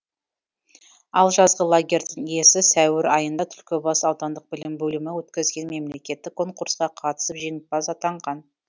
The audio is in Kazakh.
ал жазғы лагерьдің иесі сәуір айында түлкібас аудандық білім бөлімі өткізген мемлекеттік конкурсқа қатысып жеңімпаз атанған